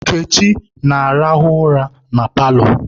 Nkechi na-arahụ ụra na paalọ